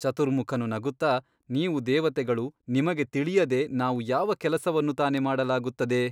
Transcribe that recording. ಚತುರ್ಮುಖನು ನಗುತ್ತಾ ನೀವು ದೇವತೆಗಳು ನಿಮಗೆ ತಿಳಿಯದೆ ನಾವು ಯಾವ ಕೆಲಸವನ್ನು ತಾನೇ ಮಾಡಲಾಗುತ್ತದೆ ?